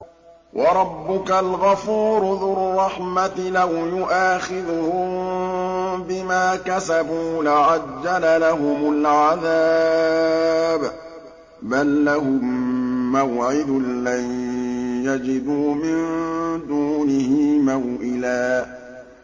وَرَبُّكَ الْغَفُورُ ذُو الرَّحْمَةِ ۖ لَوْ يُؤَاخِذُهُم بِمَا كَسَبُوا لَعَجَّلَ لَهُمُ الْعَذَابَ ۚ بَل لَّهُم مَّوْعِدٌ لَّن يَجِدُوا مِن دُونِهِ مَوْئِلًا